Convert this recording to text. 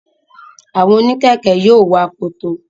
Àwọn oníkẹ̀ẹ̀kẹ́ yóò wọ akoto.